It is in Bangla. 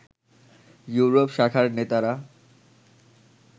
ইউরোপ শাখার নেতারা